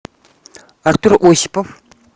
артур осипов